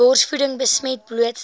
borsvoeding besmet blootstelling